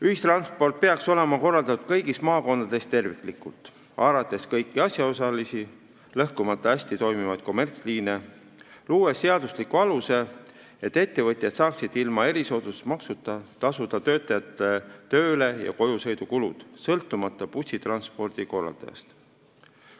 Ühistransport peaks olema korraldatud kõigis maakondades terviklikult, haarates kõiki asjaosalisi ning lõhkumata hästi toimivaid kommertsliine ja luues seadusliku aluse, et ettevõtjad saaksid ilma erisoodustusmaksuta tasuda töötajate tööle ja koju sõidu kulud, sõltumata bussitranspordi korraldajast.